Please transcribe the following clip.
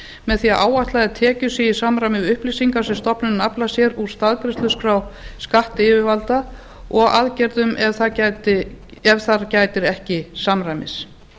með því að áætlaðar tekjur séu í samræmi við upplýsingar sem stofnunin aflar sér úr staðgreiðsluskrá skattyfirvalda og aðgerðum ef þar gætir ekki samræmis